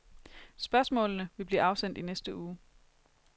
Spørgsmålene vil blive afsendt i næste uge.